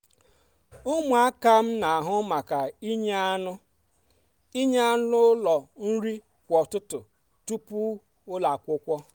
ụmụaka n'ahụ maka inye anụ inye anụ ụlọ nri kwa ụtụtụ tupu ụlọ akwụkwọ.